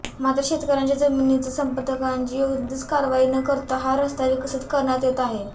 मात्र शेतकऱ्यांच्या जमिनीचे संपादनाची कोणतीच कारवाई न करता हा रस्ता विकसीत करण्यात येत आहे